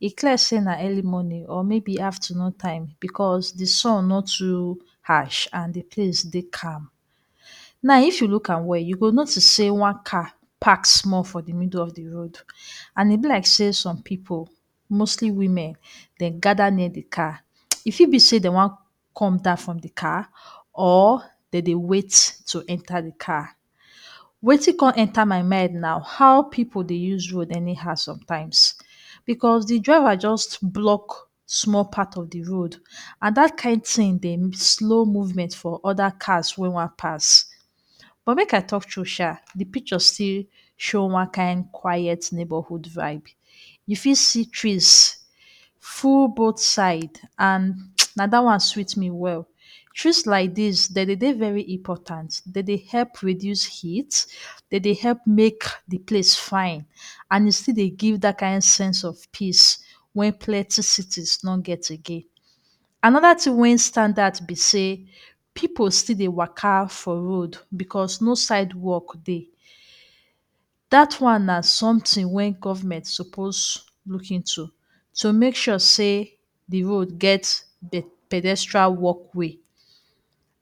E clear sey na early morning or maybe afternoon time because de sun no too harsh and de place dey calm. Now if you look am well you go notice sey one car pack small for de middle of de road and e be like sey some pipu mostly women dem gather near de car. E fit be sey dey wan come down from de car or dem dey wait to enter car. Wetin come enter my mind na how pipu dey use road anyhow sometimes because de driver just block small part of de road and dat kain thing dey slow movement for other cars wey wan pass but make I talk true shaa. De picture come show one kain quiet neighborhood vibe. You fit see trees full both side and na dat one sweet me well. Trees like dis, dem dey dey very important. Dem dey help produce heat, dem dey help make de place fine and e still dey give dat kain sense of peace wey plenty cities no get again. Another thing wey stand out be sey pipu still dey waka for road because no sidewalk dey. Dat one na something wey government suppose look into to make sure sey de road get? pedestrian walkway.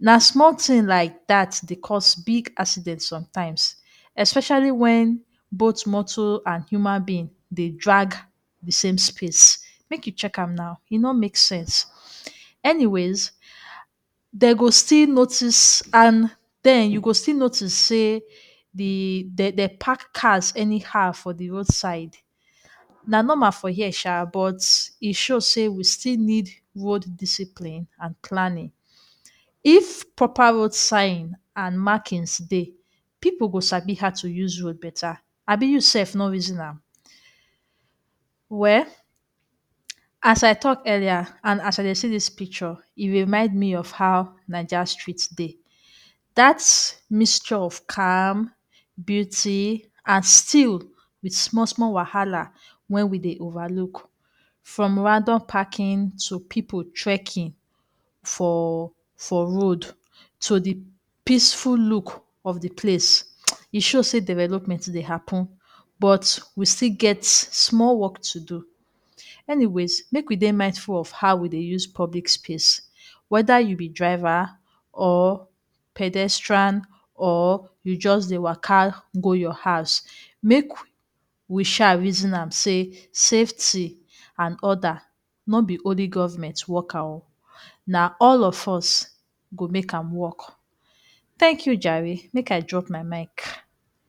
Na small thing like dat dey cause big accident sometimes especially wen both motor and human being dey drag de same space. Make you check am now, e no make sense. Anyways, dey go still notice and, den you go still notice sey de dey park cars anyhow for de roadside. Na normal for here shaa but e show sey we still need road discipline and planning. If proper road sign and markings dey, pipu go sabi how to use road better. Abi you sef no reason am? Well, as I talk earlier and as I dey see dis picture, e remind me of how Naija street dey. Dat mixture of calm, beauty and still wit small small wahala wen we dey over look; from random parking to pipu trekking for for road to de peaceful look of de place. E show sey development dey happen but we still get small work to do. Anyways make we dey dey mindful of how we dey use public space whether you be driver or pedestrian or you just dey waka go your house. Make we shaa reason am sey safety and order no be only government work am oo. Na all of us go make am work. Thank you jare, make I drop my mic.